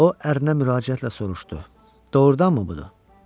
O ərinə müraciətlə soruşdu: "Doğrudanmı budur?"